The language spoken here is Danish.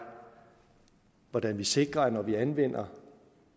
hvordan vi sikrer at når vi anvender